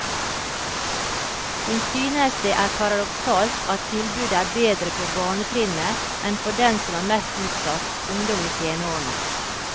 Hun synes det er paradoksalt at tilbudet er bedre på barnetrinnet enn for dem som er mest utsatt, ungdom i tenårene.